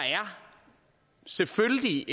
selvfølgelig